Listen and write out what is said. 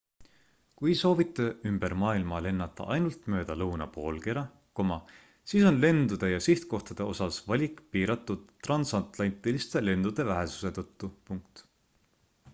kui soovite ümber maailma lennata ainult mööda lõunapoolkera siis on lendude ja sihtkohtade osas valik piiratud transatlantiliste lendude vähesuse tõttu